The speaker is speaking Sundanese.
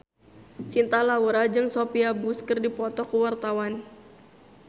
Cinta Laura jeung Sophia Bush keur dipoto ku wartawan